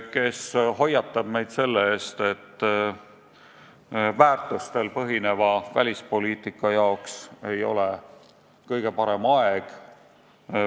Ta hoiatab meid selle eest, et väärtustel põhineva välispoliitika jaoks ei ole kõige parem aeg.